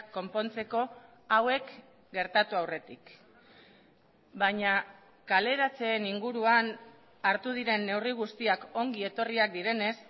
konpontzeko hauek gertatu aurretik baina kaleratzeen inguruan hartu diren neurri guztiak ongietorriak direnez